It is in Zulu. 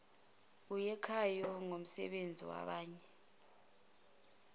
eyakhayo ngomsebenzi wabanye